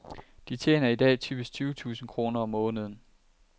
De tjener i dag typisk tyve tusind kroner om måneden.